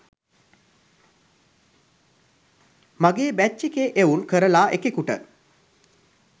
මගේ බැච් එකේ එවුන් කරලා එකෙකුට